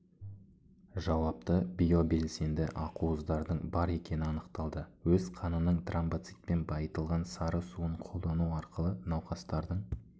жауапты биобелсенді ақуыздардың бар екені анықталды өз қанының тромбоцитпен байытылған сары суын қолдану арқылы науқастардың